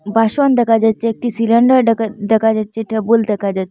বাসন দেখা যাচ্ছে একটি সিলিন্ডার ডেখা দেখা যাচ্ছে একটা টেবল দেখা যা--